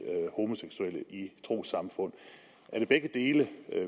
homoseksuelle i trossamfundene er det begge de dele